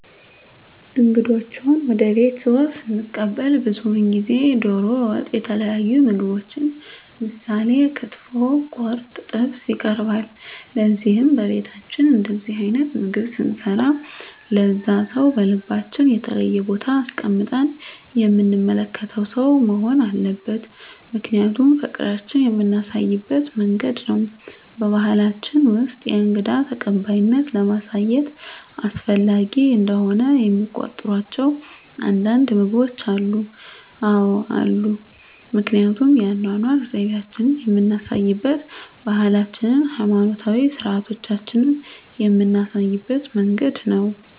እንግዶችዎን ወደ ቤትዎ ስንቀበል ብዙውን ጊዜ ደሮ ወጥ የተለያዩ ምግቦች ምሳሌ ክትፎ ቁርጥ ጥብስ ይቀርባል ለዚህም በቤታችን እንደዚህ አይነት ምግብ ስንሰራ ለዛ ሰው በልባችን የተለየ ቦታ አስቀምጠን የምንመለከተው ሰው መሆን አለበት ምክንያቱም ፍቅራችን የምናሳይበት መንገድ ነው በባሕላችን ውስጥ የእንግዳ ተቀባይነትን ለማሳየት አስፈላጊ እንደሆነ የሚቆጥሯቸው አንዳንድ ምግቦች አሉ? አዎ አሉ ምክንያቱም የአኗኗር ዘይቤአችንን የምናሳይበት ባህላችንን ሀይማኖታዊ ስርአቶቻችንን ምናሳይበት መንገድ ነው